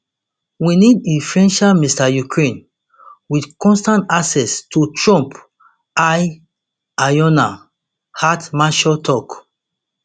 we need influential mr ukraine wit constant access to trump ear alyona hetmanchuk tok